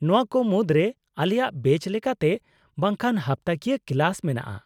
-ᱱᱚᱶᱟ ᱠᱚ ᱢᱩᱫᱨᱮ ᱟᱞᱮᱭᱟᱜ ᱵᱮᱪ ᱞᱮᱠᱟᱛᱮ ᱵᱟᱝᱠᱷᱟᱱ ᱦᱟᱯᱛᱟᱠᱤᱭᱟᱹ ᱠᱞᱟᱥ ᱢᱮᱱᱟᱜᱼᱟ ᱾